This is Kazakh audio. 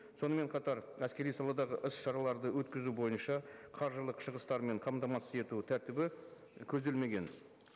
сонымен қатар әскери саладағы іс шараларды өткізу бойынша қаржылық шығыстармен қамтамасыз ету тәртібі көзделмеген